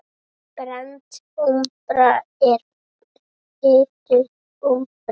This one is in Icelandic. Brennd úmbra er hituð úmbra.